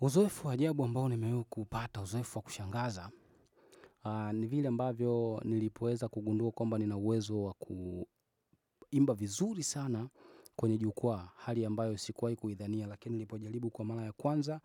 Uzoefu wa ajabu ambao nimewaikuupata uzoefu wa kushangaza, ni vile ambavyo nilipoweza kugundua kwamba nina uwezo wa kuimba vizuri sana kwenye jukwaa hali ambayo sikuwahi kuidhania lakini nilipojaribu kwa mara ya kwanza,